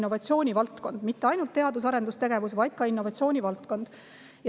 mitte ainult teadus- ja arendustegevusega, vaid on ka innovatsiooni valdkond.